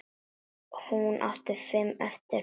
Hún átti fimm eftir.